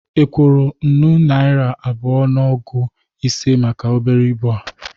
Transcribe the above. Ị kwọrọ nnụ naira abụa na ogu ise maka obere ibụ a?